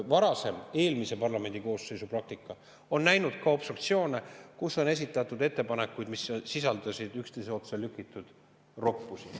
Varasem, eelmise parlamendikoosseisu praktika on näinud ka obstruktsioone, kus on esitatud ettepanekuid, mis sisaldasid üksteise otsa lükitud roppusi.